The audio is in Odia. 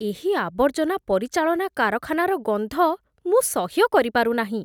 ଏହି ଆବର୍ଜନା ପରିଚାଳନା କାରଖାନାର ଗନ୍ଧ ମୁଁ ସହ୍ୟ କରିପାରୁ ନାହିଁ।